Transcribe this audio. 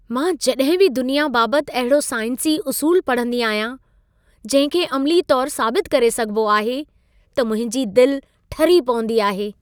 मां जॾहिं बि दुनिया बाबति अहिड़ो साइंसी उसूल पढ़ंदी आहियां, जहिं खे अमिली तौरु साबित करे सघिबो आहे, त मुंहिंजी दिल ठरी पवंदी आहे।